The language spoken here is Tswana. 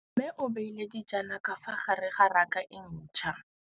Mmê o beile dijana ka fa gare ga raka e ntšha.